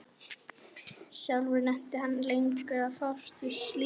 Sjálfur nennti hann ekki lengur að fást við slíkt.